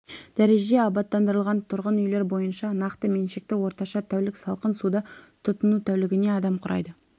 дәрежеде абаттандырылған тұрғын үйлер бойынша нақты меншікті орташа тәулік салқын суды тұтыну тәулігіне адам құрайды